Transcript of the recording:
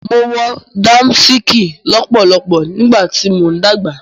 Mo wọ Dàmàsìkì lọ́pọ̀lọpọ̀ nígbàtí mo ń dàgbà